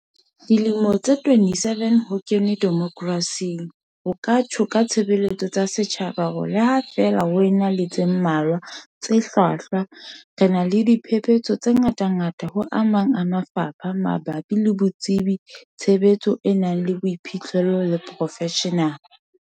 Dilemo tse 27 ho kenwe demokrasing, ho ka tjho ka tshebeletso tsa setjhaba hore le ha feela ho ena le tse mmalwa tse hlwahlwa, re na le diphepetso tse ngatangata ho a mang mafapha mabapi le botsebi, tshebetso e nang le boiphihlelo le profeshenale.